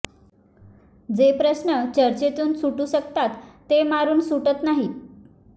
जे प्रश्न चर्चेतून सुटू शकतात ते मारून सुटत नाहीत